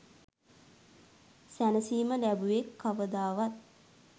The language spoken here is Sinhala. සැනසිම ලැබුවෙක් කවදාවත්